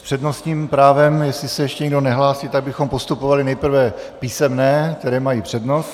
S přednostním právem, jestli se ještě někdo nehlásí, tak bychom postupovali nejprve písemné, které mají přednost.